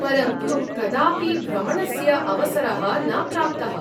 परन्तु कदापि भ्रमणस्य अवसरः न प्राप्तः।